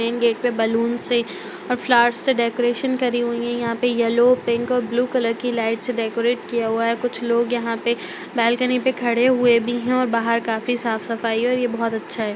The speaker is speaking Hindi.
मैन गेट पे बलुन्स है और फ़्लोवर्स से डेकोरेशन करी हुइ है यहाँ पे येल्लो पिंक और ब्लु कलर की लाइट से डेकोरेट किया हुआ है कुछ लोग यहाँ पे बाल्कनी पे खडे हुए भी है और बाहर काफ़ी साफ़ सफ़ाई और ये बहुत अच्छा है।